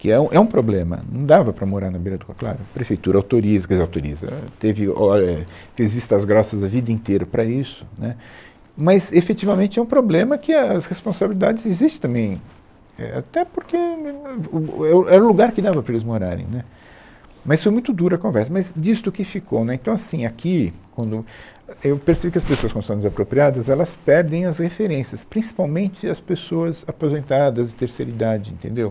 que é um, é um problema, não dava para morar na beira do córrego, claro, a prefeitura autoriza, quer dizer, autoriza, éh, teve, olha, é fez vistas grossas a vida inteira para isso, né, mas efetivamente é um problema que é, as responsabilidades existem também, é, até porque um um um é o, era o lugar que dava para eles morarem, né, mas foi muito dura a conversa, mas disto o que ficou, né, então assim, aqui quando eu é, eu percebi que as pessoas quando são desapropriadas, elas perdem as referências, principalmente as pessoas aposentadas, terceira idade, entendeu?